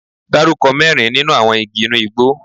Dárúkọ mẹ́rin nínú àwọn igi inú igbó?